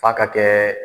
F'a ka kɛ